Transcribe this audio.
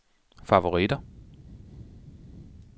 favoritter